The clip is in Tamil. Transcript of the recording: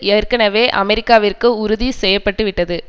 ஏற்கனவே அமெரிக்காவிற்கு உறுதி செய்ய பட்டு விட்டது